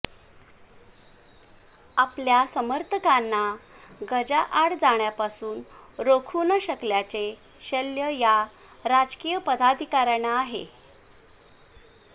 आपल्या समर्थकांना गजाआड जाण्यापासून रोखू न शकल्याचे शल्य या राजकीय पदाधिकाऱ्यांना आहे